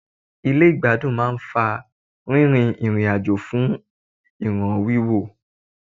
Ilé ìgbádùn máà ń fa rírin ìrìn àjò fún ìràn wíwò.